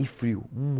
E frio.